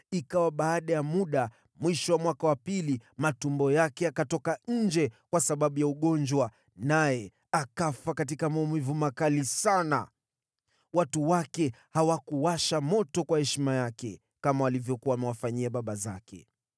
Ikawa baada ya muda, mwisho wa mwaka wa pili, matumbo yake yakatoka nje kwa sababu ya ugonjwa, naye akafa katika maumivu makali sana. Watu wake hawakuwasha moto kwa heshima yake, kama walivyokuwa wamewafanyia baba zake.